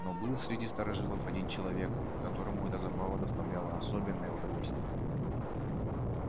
но был среди старожилов один человек которому эта забава доставляла особенное удовольствие